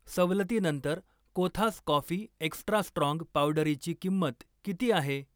सवलतीनंतर Kothas coffee extra strong पावडरीची किंमत किती आहे?